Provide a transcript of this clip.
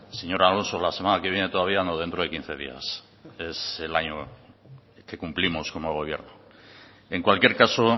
señor alonso la semana que viene todavía no dentro de quince días es el año que cumplimos como gobierno en cualquier caso